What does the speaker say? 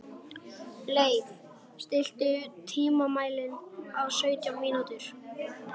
Leif, stilltu tímamælinn á sautján mínútur.